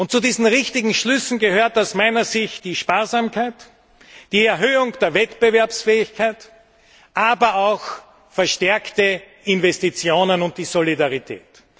Zu diesen richtigen Schlüssen gehören aus meiner Sicht die Sparsamkeit, die Erhöhung der Wettbewerbsfähigkeit, aber auch verstärkte Investitionen und Solidarität.